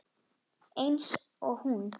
Eins og hún.